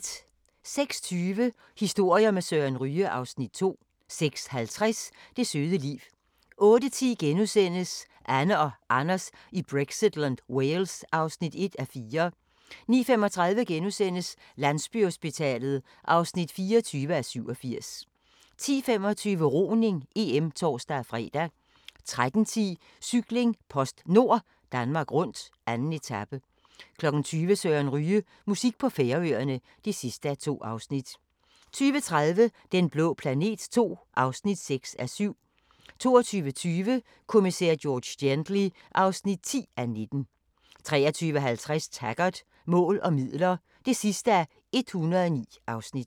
06:20: Historier med Søren Ryge (Afs. 2) 06:50: Det søde liv 08:10: Anne og Anders i Brexitland: Wales (1:4)* 09:35: Landsbyhospitalet (24:87)* 10:25: Roning: EM (tor-fre) 13:10: Cykling: PostNord Danmark rundt, 2. etape 20:00: Søren Ryge: Musik på Færøerne (2:2) 20:30: Den blå planet II (6:7) 22:20: Kommissær George Gently (10:19) 23:50: Taggart: Mål og midler (109:109)